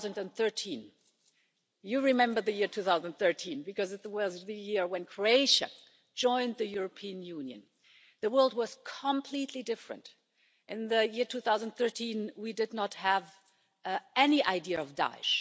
2013. You remember the year 2013 because it was the year when Croatia joined the European Union. The world was completely different. In the year 2013, we did not have any idea of Daesh.